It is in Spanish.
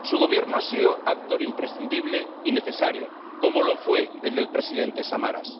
Su Gobierno ha sido actor imprescindible y necesario, como lo fue el del presidente Samaras.